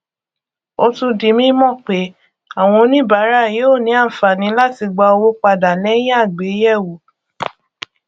ó tún di mímọ pé àwọn oníbàárà yóò ní àǹfààní láti gbà owó padà lẹyìn àgbéyẹwò